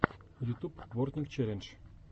ютуб бортник челлендж